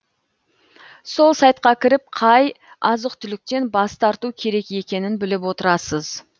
сол сайтқа кіріп қай азық түліктен бас тарту керек екенін біліп отырасыз